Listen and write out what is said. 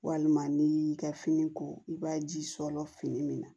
Walima n'i y'i ka fini ko i b'a ji sɔrɔ fini min na